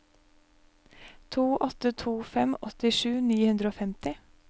to åtte to fem åttisju ni hundre og femti